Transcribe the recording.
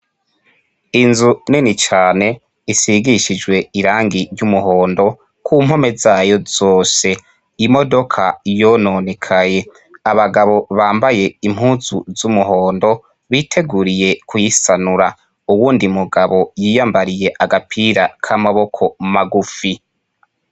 Inzu nini cane isigishijwe irangi ry'umuhondo kumpome zayo zose, imodoka yononekaye, abagabo bambaye impuzu z'umuhondo boteguriye kurisanura, uwundi mugabo yiyambariye agapira k'amaboko magufi.